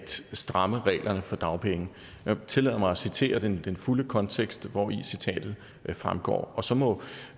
stramme reglerne for dagpenge jeg tillader mig at citere den fulde kontekst hvori citatet fremgår og så må